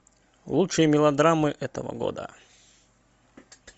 лучшие мелодрамы этого года